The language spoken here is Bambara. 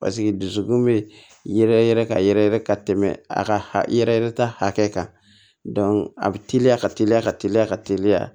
Paseke dusukun bɛ yɛrɛ yɛrɛ ka yɛrɛ yɛrɛ ka tɛmɛ a ka yɛrɛ yɛrɛ ta hakɛ kan dɔnku a be teliya ka teliya ka teliya ka teliya